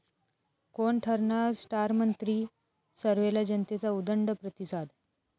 कोण ठरणार स्टारमंत्री?, सर्व्हेला जनतेचा उदंड प्रतिसाद